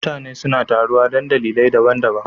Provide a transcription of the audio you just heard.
Mutane suna taruwa don dalilai daban-daban